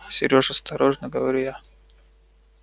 серёж осторожно говорю я